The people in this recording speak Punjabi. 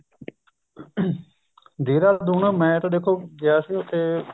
ਦੇਹਰਾਦੂਨ ਮੈਂ ਤਾਂ ਦੇਖੋ ਗਿਆ ਸੀ ਉੱਥੇ